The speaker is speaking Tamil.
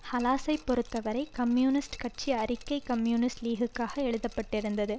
ஹலாஸைப் பொறுத்த வரை கம்யூனிஸ்ட் கட்சி அறிக்கை கம்யூனிஸ்ட் லீகுக்காக எழுத பட்டிருந்தது